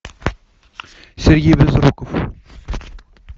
сергей безруков